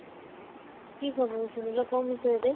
କି ଖବର ଶୁଣିଲ? କୋଉ ବିଷୟରେ?